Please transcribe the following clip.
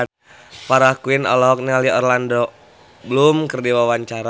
Farah Quinn olohok ningali Orlando Bloom keur diwawancara